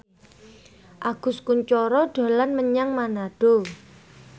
Agus Kuncoro dolan menyang Manado